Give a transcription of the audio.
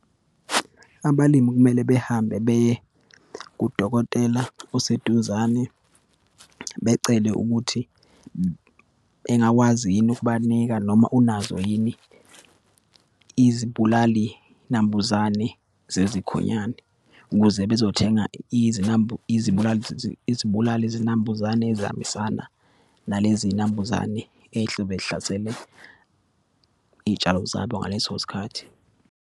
Abalimi kumele behambe beye kudokotela oseduzane, becele ukuthi engakwazi yini ukubanika noma unazo yini izibulalinambuzane zezikhonyane, ukuze bezothenga izibulali , izibulalizinambuzane ezihambisana naleziyinambuzane eyihlobe zihlasele iyitshalo zabo ngaleso sikhathi.